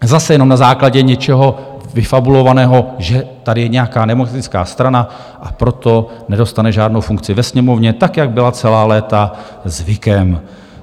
Zase jenom na základě něčeho vyfabulovaného, že tady je nějaká demokratická strana, a proto nedostane žádnou funkci ve Sněmovně, tak jak byla celá léta zvykem.